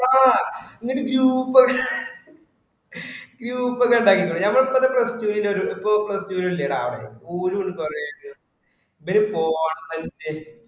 ആ നിങ്ങക്ക് group ഒക്കെ group ഒക്കെ ഇണ്ടാക്കികൂടെ നമ്മള് ഇപ്പൊ plus two ന് ഉളൊരു ഇപ്പോം plus two ല് ഇല്ലേടാ അവടെ ഒര് group എങ്ങും